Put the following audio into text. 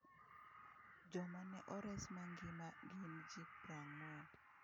Joma ne ores mangima gin ji prang'wen.